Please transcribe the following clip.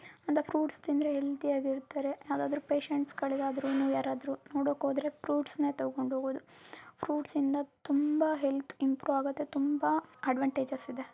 ಅಂದ ಫ್ರುಟ್ಸ್ ತಿಂದ್ರೆ ಹೆಲ್ತಿಯಾಗ್ ಇರ್ತಾರೆ ಯಾವದಾದ್ರು ಪೇಶಂಟ್ಸ್ಗಳಿಗಾದ್ರು ನು ಯಾರಾದ್ರೂ ನೊಡೊಕ್ ಹೋದ್ರೆ ಫ್ರುಟ್ಸ್ ನೆ ತಗೊಂಡ್ ಹೋಗೋದು. ಫ್ರುಟ್ಸ್ ಇಂದ ತುಂಬಾ ಹೆಲ್ತ್ ಇಂಪ್ರೂವ್ ಆಗತ್ತೆ ತುಂಬಾ ಅಡ್ವಾನ್ಟೇಜಸ್ ಇದೆ.